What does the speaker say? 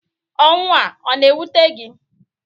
Ọnwụ a a na-ewute gi?